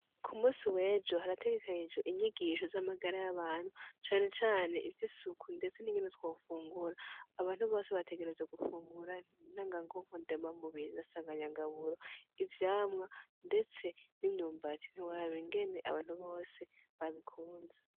Ku munsi w'ejo harategekanijwe inyigisho z'amagara y'abantu cane cane ivy'isuku ndetse ningene twofungura. Abantu bose bategerezwa gufungura ntanganguvu, ndemamubiri na sanganyangaburo, ivyamwa ndetse n'imyumbati ntiworaba ingene abantu bose babikunze.